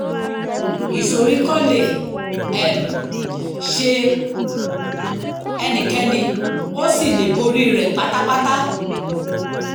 ìsoríkọ́ lè um ṣe ẹnikẹ́ni o sì lè borí rẹ̀ pátápátá